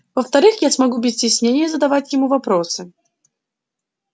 во-вторых я смогу без стеснения задавать ему вопросы